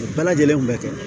U bɛɛ lajɛlen kun bɛ kɛ